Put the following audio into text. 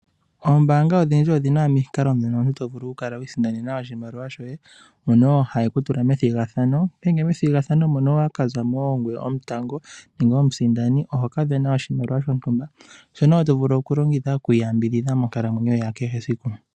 Oombaanga odhindji odhina omikalo dhono omuntu tovulu kukala wiisindanena oshimaliwa shoye mono haye kutula methigathano, ngele methigathano mono owaka zamo ongweye omutango nenge omusindani ohoka vena oshimaliwa shotumba shono woo tovulu okulongitha okwiiyambidhidha monkalamwenyo yakehe siku.